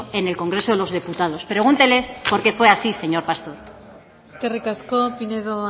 en el congreso de los diputados pregúntele por qué fue así señor pastor eskerrik asko pinedo